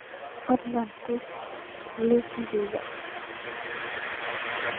fadlan tus liiskayga